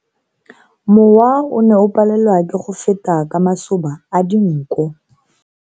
Mowa o ne o palelwa ke go feta ka masoba a dinko.